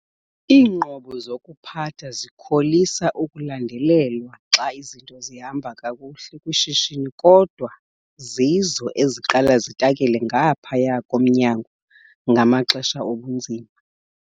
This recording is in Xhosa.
Iinqobo zokuphatha zikholisa ukulandelelwa xa izinto zihamba kakuhle kwishishini kodwa zizo eziqala zitakele ngaphaya komnyango ngamaxesha obunzima.